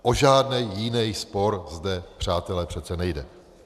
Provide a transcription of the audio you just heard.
O žádný jiný spor zde, přátelé, přece nejde.